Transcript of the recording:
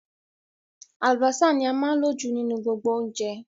Àlùbọ́sà ní a máa ń lò jù nínú gbogbo oúnjẹ